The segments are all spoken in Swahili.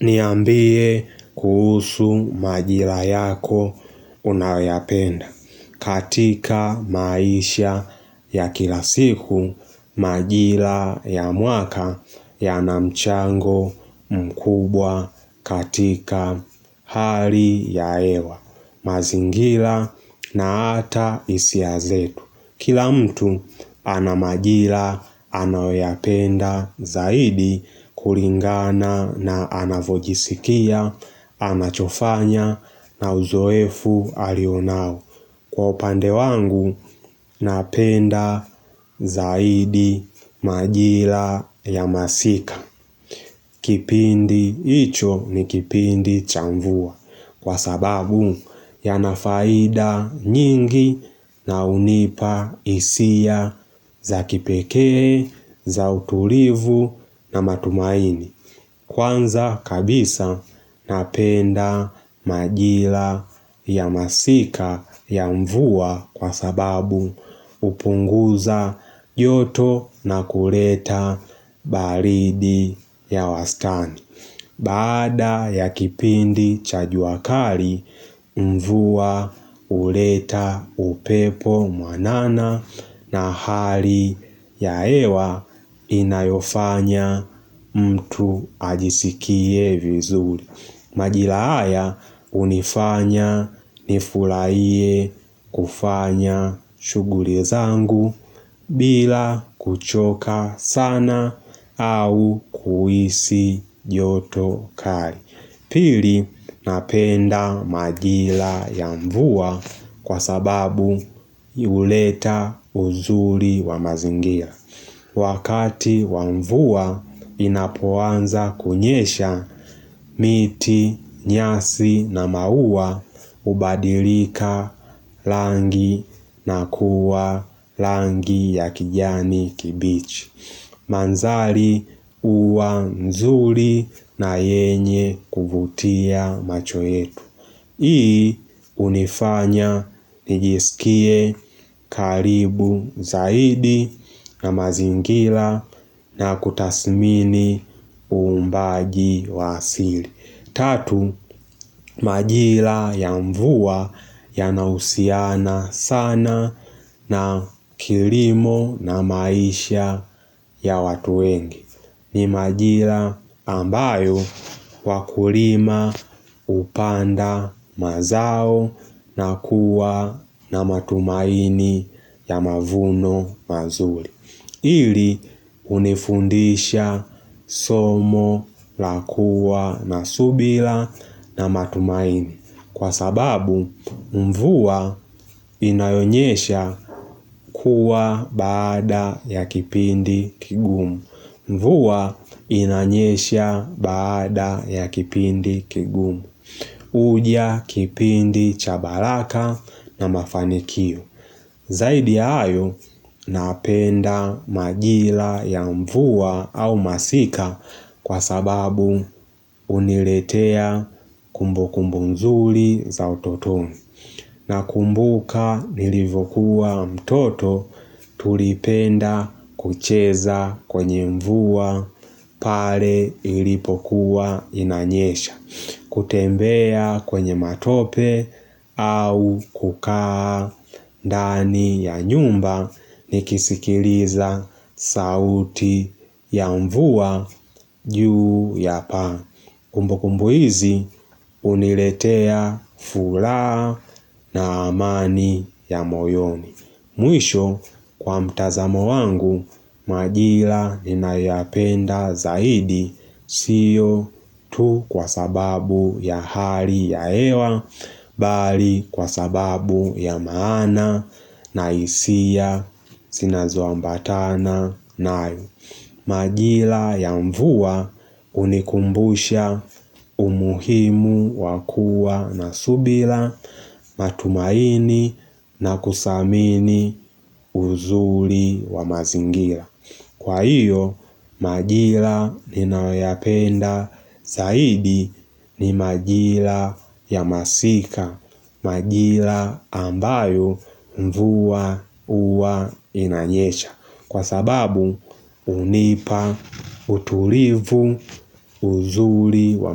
Niambie kuhusu majira yako unayoyapenda katika maisha ya kila siku majira ya mwaka yana mchango mkubwa katika hali ya hewa. Mazingila na ata isia zetu. Kila mtu ana majila anayoyapenda zaidi kulingana na anavojisikia anachofanya na uzoefu alionao. Kwa upande wangu napenda zaidi majila ya masika. Kipindi icho ni kipindi cha mvua kwa sababu yana faida nyingi na hunipa isia za kipekee za utulivu na matumaini. Kwanza kabisa napenda majila ya masika ya mvua kwa sababu hupunguza joto na kureta baridi ya wastani. Baada ya kipindi cha jua kali, mvua uleta upepo mwanana na hali ya hewa inayofanya mtu ajisikie vizuri. Majila haya hunifanya nifulaie kufanya shughuli zangu bila kuchoka sana au kuhisi joto kari Pili napenda majila ya mvua kwa sababu uleta uzuri wa mazingia Wakati wa mvua inapoanza kunyesha miti, nyasi na maua hubadilika langi na kuwa langi ya kijani kibichi. Manzali uwa nzuri na yenye kuvutia macho yetu. Hii hunifanya nijisikie karibu zaidi na mazingila na kutasmini uumbaji wa asili Tatu majila ya mvua yanausiana sana na kirimo na maisha ya watu wengi ni majila ambayo wakulima upanda mazao na kuwa na matumaini ya mavuno mazuri ili unifundisha somo la kuwa na subila na matumaini Kwa sababu mvua inayonyesha kuwa baada ya kipindi kigumu Mvua inanyesha baada ya kipindi kigumu. Uja kipindi cha balaka na mafanikio. Zaidi ya ayo napenda majila ya mvua au masika kwa sababu uniletea kumbukumbu nzuli za utotoni. Nakumbuka nilivokuwa mtoto tulipenda kucheza kwenye mvua pare ilipokuwa inanyesha. Kutembea kwenye matope au kukaa ndani ya nyumba nikisikiliza sauti ya mvua juu ya paa. Kumbukumbu hizi uniletea fulaa na amani ya moyoni. Mwisho kwa mtazamo wangu, majila ninayoyapenda zaidi siyo tu kwa sababu ya hali ya hewa, bali kwa sababu ya maana na isia sinazoambatana nayo. Majila ya mvua unikumbusha umuhimu wa kuwa na subila matumaini na kusamini uzuli wa mazingila Kwa hiyo, majila ninayoyapenda zaidi ni majila ya masika Majila ambayo mvua uwa inanyesha Kwa sababu unipa, uturifu, uzuri wa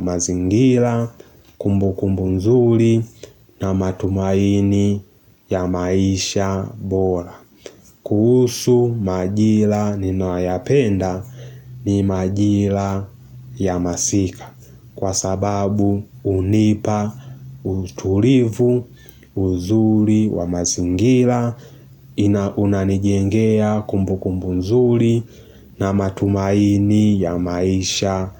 mazingila, kumbukumbu nzuri na matumaini ya maisha bora kuhusu majila ninayoyapenda ni majila ya masika Kwa sababu unipa, uturifu, uzuri wa mazingira Unanijengea kumbukumbu nzuri na matumaini ya maisha.